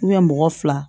mɔgɔ fila